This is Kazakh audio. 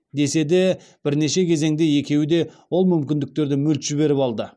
десе де бірнеше кезеңде екеуі де ол мүмкіндіктерді мүлт жіберіп алды